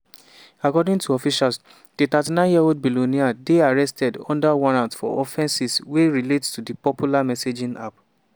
according to officials di 39-year-old billionaire dey arrested under warrant for offences wey relate to di popular messaging app.